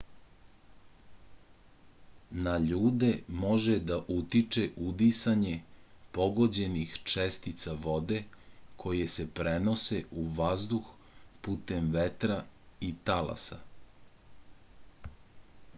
na ljude može da utiče udisanje pogođenih čestica vode koje se prenose u vazduh putem vetra i talasa